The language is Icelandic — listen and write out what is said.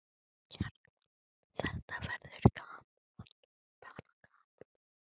Kjartan: Þetta verður bara gaman?